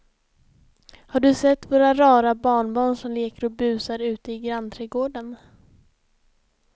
Har du sett våra rara barnbarn som leker och busar ute i grannträdgården!